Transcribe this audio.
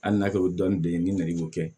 Hali n'a kɛra o ye dɔɔnin de ye ni nɛgɛ b'o kɛ